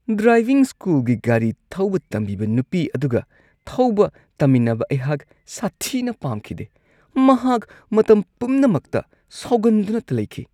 Driving ꯁ꯭ꯀꯨꯜꯒꯤ ꯒꯥꯔꯤ ꯊꯧꯕ ꯇꯝꯕꯤꯕ ꯅꯨꯄꯤ ꯑꯗꯨꯒ ꯊꯧꯕ ꯇꯝꯃꯤꯟꯅꯕ ꯑꯩꯍꯥꯛ ꯁꯥꯊꯤꯅ ꯄꯥꯝꯈꯤꯗꯦ ꯫ ꯃꯍꯥꯛ ꯃꯇꯝ ꯄꯨꯝꯅꯃꯛꯇ ꯁꯥꯎꯒꯟꯗꯨꯅꯇ ꯂꯩꯈꯤ ꯫